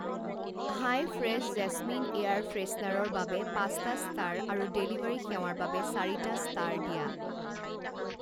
হাই fresh jasmine air ফ্ৰেছনাৰৰ বাবে পাঁচটা ষ্টাৰ আৰু ডেলিভাৰী সেৱাৰ বাবে চাৰিটা ষ্টাৰ দিয়া।